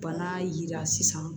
Bana yira sisan